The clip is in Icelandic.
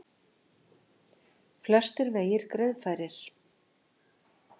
Flestir vegir greiðfærir